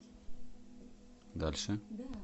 дальше